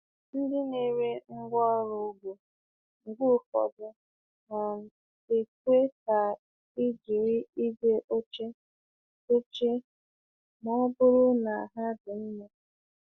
Ndị na-ere ngwaọrụ ugbo mgbe ụfọdụ um ekwe ka e jiri igwe ochie dochie ma ọ bụrụ na ha dị mma.